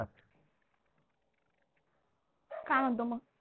काय म्हणतो मग?